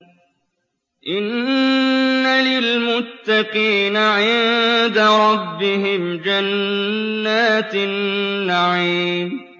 إِنَّ لِلْمُتَّقِينَ عِندَ رَبِّهِمْ جَنَّاتِ النَّعِيمِ